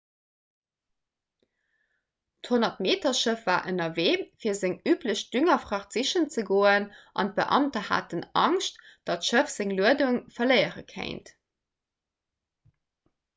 d'100-meter-schëff war ënnerwee fir seng üblech düngerfracht sichen ze goen an d'beamter haten angscht datt d'schëff seng luedung verléiere kéint